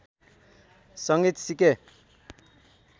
संगीत सिके